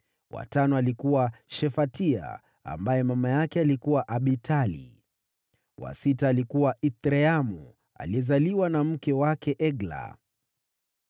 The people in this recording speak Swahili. wa tano alikuwa Shefatia ambaye mama yake alikuwa Abitali; wa sita alikuwa Ithreamu, aliyezaliwa na mke wake Egla.